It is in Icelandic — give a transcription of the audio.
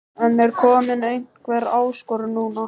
En er komin einhver áskorun núna?